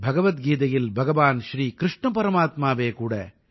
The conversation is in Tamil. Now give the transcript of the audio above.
பகவத் கீதையில் பகவான் ஸ்ரீ கிருஷ்ண பரமாத்மாவே கூட